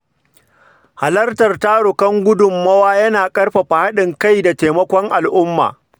Halartar tarukan tara gudummawa yana ƙarfafa haɗin kai da taimakon al’umma.